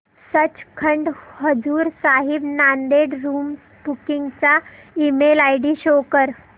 Sachkhand Hazur Sahib Nanded room booking चा email ID show कर